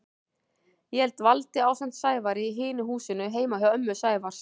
Ég dvaldi ásamt Sævari í hinu húsinu heima hjá ömmu Sævars.